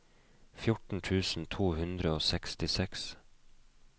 fjorten tusen to hundre og sekstiseks